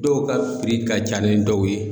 Dɔw ka ka ca ni dɔw ye.